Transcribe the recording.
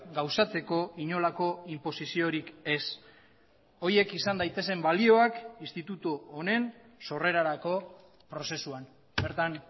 gauzatzeko inolako inposiziorik ez horiek izan daitezen balioak institutu honen sorrerarako prozesuan bertan